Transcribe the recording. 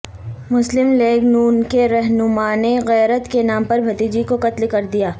مسلم لیگ ن کے رہنمانے غیرت کے نام پر بھتیجی کو قتل کر دیا